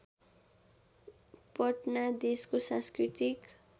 पटना देशको सांस्कृतिक